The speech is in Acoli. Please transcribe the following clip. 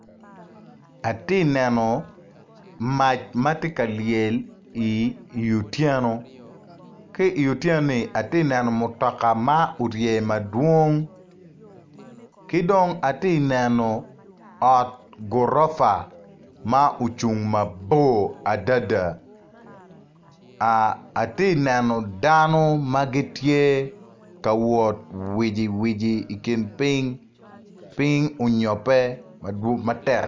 Atye ka neno mac ma tye ka lyel i wi otyeno ki i wi otyeno atye ka neno mutoka madwongo ki dong atye ka neno ot gurofa ma ocung mabor adada atye ka neo dano ma gitye ka wot wiciwici.